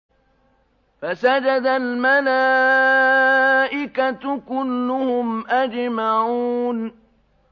فَسَجَدَ الْمَلَائِكَةُ كُلُّهُمْ أَجْمَعُونَ